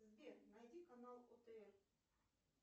сбер найди канал отр